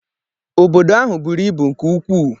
Obodo ahụ buru ibu nke ukwuu